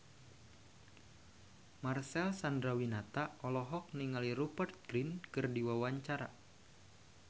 Marcel Chandrawinata olohok ningali Rupert Grin keur diwawancara